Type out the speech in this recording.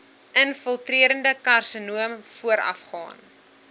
infiltrerende karsinoom voorafgaan